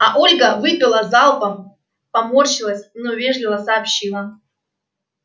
а ольга выпила залпом поморщилась но вежливо сообщила